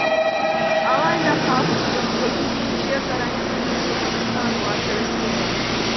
алайда халық мүмкіндігі келгенше карантин режимін ұстануға тырысуда